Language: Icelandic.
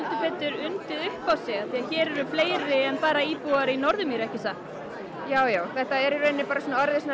undið upp á sig því hér eru fleiri en bara íbúar í Norðurmýri ekki satt jú jú þetta er í raun orðið svona